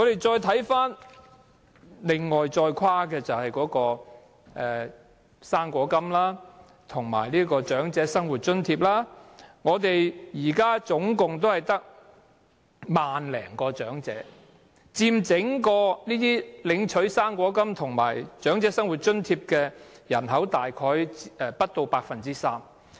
再看看跨境的"生果金"及長者生活津貼的申請人數，現時只有1萬多，佔整體領取"生果金"及長者生活津貼的人數大約不足 3%。